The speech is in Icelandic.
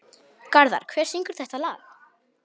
Garðar, hver syngur þetta lag?